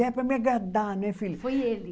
É, para me agradar, né, filha. Foi ele?